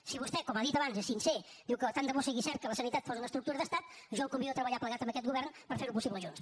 si vostè com ha dit abans és sincer diu que tant de bo sigui cert que la sanitat fos una estructura d’estat jo el convido a treballar plegat amb aquest govern per fer ho possible junts